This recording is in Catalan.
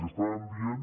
i estàvem dient